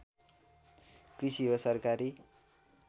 कृषि हो सरकारी